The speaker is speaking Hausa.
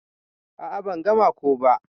A'a ban gama ko ba.